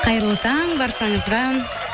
қайырлы таң баршаңызға